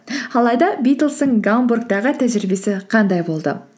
алайда битлзтің гамбургтағы тәжірибесі қандай болды